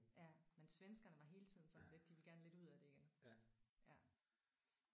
Ja men svenskerne var hele tiden sådan lidt de ville gerne lidt ud af det igen ja